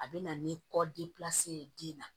A bɛ na ni kɔ de ye den na